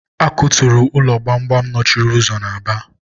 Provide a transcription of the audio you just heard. a kuturu ụlọ gbamgbam nọchiri ụzọ na Aba.